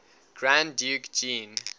grand duke jean